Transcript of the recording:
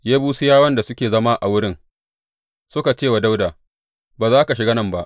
Yebusiyawan da suke zama a wurin suka ce wa Dawuda, Ba za ka shiga nan ba.